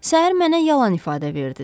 Səhər mənə yalan ifadə verdiniz.